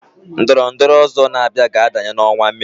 Ndọrọndorọ ọ̀zọ́ na-abịa ga adanye n'ọnwa Mee.